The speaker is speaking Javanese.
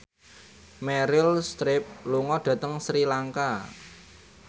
Meryl Streep lunga dhateng Sri Lanka